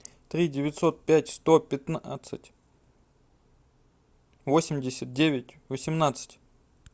три девятьсот пять сто пятнадцать восемьдесят девять восемнадцать